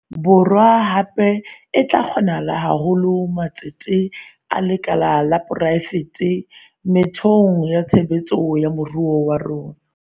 Borwa, hape, e tla kgothaletsa haholo matsete a lekala la poraefete methe ong ya tshebetso ya moruo wa rona.